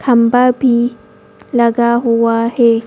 खंभा भी लगा हुआ है।